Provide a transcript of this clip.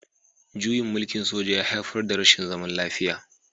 Juyin mulkin soja ya haifar da rashin zaman lafiya